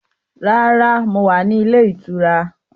Rárá, mo wá ní ilé ìtura.